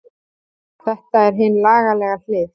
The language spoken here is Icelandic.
Þetta er hin lagalega hlið.